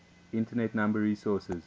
internet number resources